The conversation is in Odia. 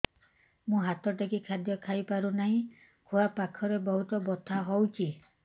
ମୁ ହାତ ଟେକି ଖାଦ୍ୟ ଖାଇପାରୁନାହିଁ ଖୁଆ ପାଖରେ ବହୁତ ବଥା ହଉଚି